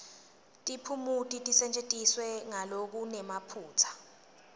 tiphumuti tisetjentiswe ngalokunemaphutsa